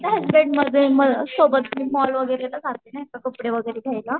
सोबत मोल वगैरे ला जाते नाही का कपडे वगैरे घ्यायला